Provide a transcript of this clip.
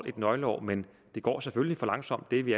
et nøgleår men det går selvfølgelig for langsomt det er vi